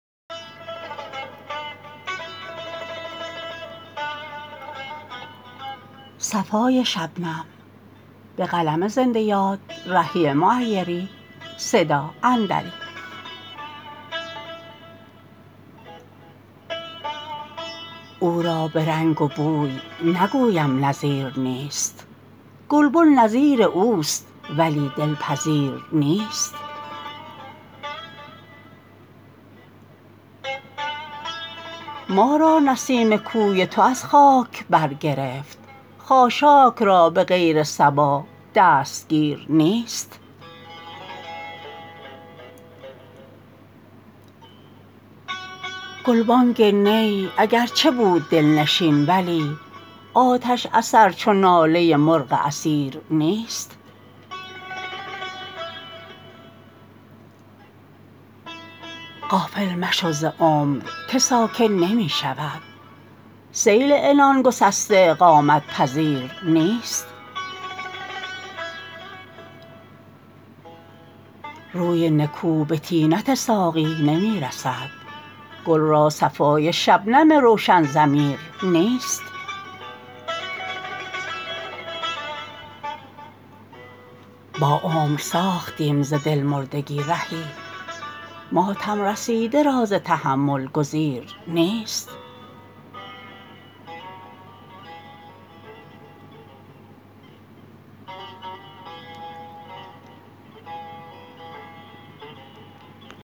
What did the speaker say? او را به رنگ و بوی نگویم نظیر نیست گلبن نظیر اوست ولی دل پذیر نیست ما را نسیم کوی تو از خاک بر گرفت خاشاک را به غیر صبا دستگیر نیست گلبانگ نی اگرچه بود دل نشین ولی آتش اثر چو ناله مرغ اسیر نیست غافل مشو ز عمر که ساکن نمی شود سیل عنان گسسته اقامت پذیر نیست روی نکو به طینت ساقی نمی رسد گل را صفای شبنم روشن ضمیر نیست با عمر ساختیم ز دل مردگی رهی ماتم رسیده را ز تحمل گزیر نیست